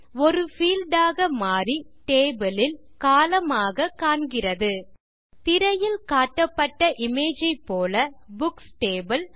ஒரு பீல்ட் ஆக மாறி டேபிள் லில் கோலம்ன் ஆக காண்கிறது திரையில் காட்டப்பட்ட இமேஜ் போல புக்ஸ் டேபிள்